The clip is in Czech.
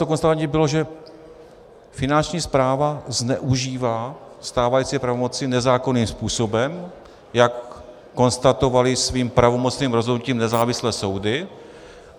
To konstatování bylo, že Finanční správa zneužívá stávající pravomoci nezákonným způsobem, jak konstatovaly svým pravomocným rozhodnutím nezávislé soudy.